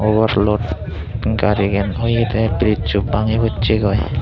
obarlot garigan oyedey birisso bangi possegoi.